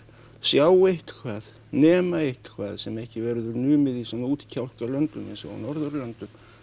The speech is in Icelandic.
sjá eitthvað nema eitthvað sem ekki verður numið í svona eins og á Norðurlöndum